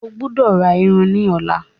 o gbódò rà ìrù ní ọlá!